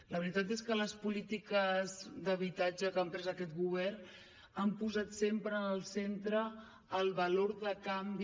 la veritat és que les polítiques d’habitatge que ha emprès aquest govern han posat sempre en el centre el valor de canvi